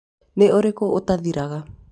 nĩ ũrĩkũ ũtathiraga